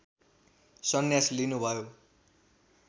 सन्यास लिनुभयो